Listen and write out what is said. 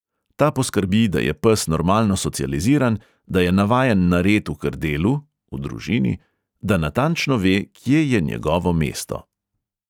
Ta poskrbi, da je pes normalno socializiran, da je navajen na red v krdelu (v družini), da natančno ve, kje je njegovo mesto.